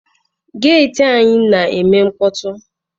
Geeti anyi na-eme mkpọtụ.